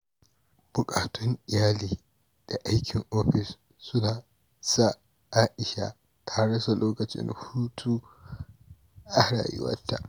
Buƙatun iyali da aikin ofis sun sa Aisha ta rasa lokacin hutu a rayuwarta.